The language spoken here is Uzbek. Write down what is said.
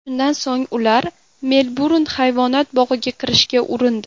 Shundan so‘ng ular Melburn hayvonot bog‘iga kirishga urindi.